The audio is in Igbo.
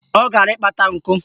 Ọ gara ịkpata nkụ